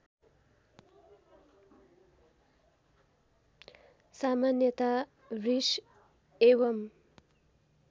सामान्यतया वृष एवम्